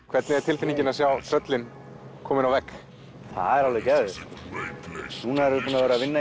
hvernig er tilfinningin að sjá tröllin komin á vegg það er alveg geðveikt núna erum við búin að vera að vinna